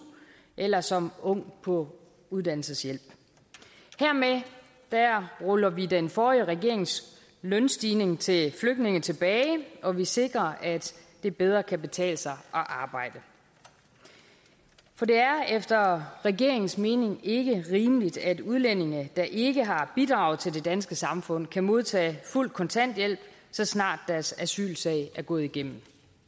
eller som ung på uddannelseshjælp hermed ruller vi den forrige regerings lønstigning til flygtninge tilbage og vi sikrer at det bedre kan betale sig at arbejde for det er efter regeringens mening ikke rimeligt at udlændinge der ikke har bidraget til det danske samfund kan modtage fuld kontanthjælp så snart deres asylsag er gået igennem